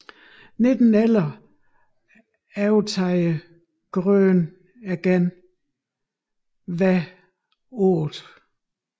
I 1911 overtager Grøn igen Hver 8